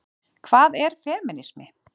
Hvað er femínismi?